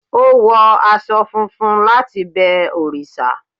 o wo aṣọ funfun latí bẹ òrìṣà